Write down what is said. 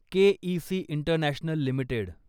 K E C international limited